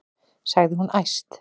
sagði hún æst.